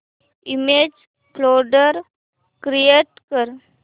image folder create कर